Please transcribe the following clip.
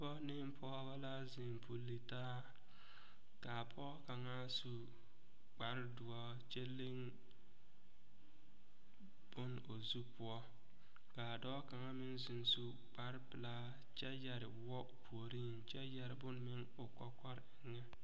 Pɔge ne pɔgeba la zeŋ puli taa k,a pɔge kaŋa su kpardoɔre kyɛ leŋ bon o zu poɔ k,a dɔɔ kaŋa meŋ zeŋ su kparpelaa kyɛ yɛre woɔ o puoriŋ kyɛ yɛre bonne meŋ o kɔkɔre eŋɛ.